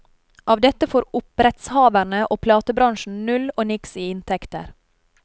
Av dette får opphavsrettshaverne og platebransjen null og niks i inntekter.